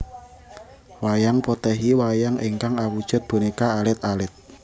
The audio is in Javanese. Wayang Potèhi Wayang ingkang awujud bonéka alit alit